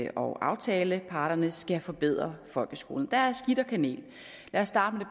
og aftaleparterne skal forbedre folkeskolen der er skidt og kanel lad os starte